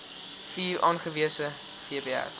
vier aangewese vpr